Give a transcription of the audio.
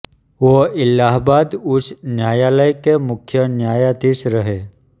वो इलाहाबाद उच्च न्यायालय के मुख्य न्यायाधीश रहे